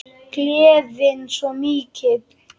Gleðin svo mikil.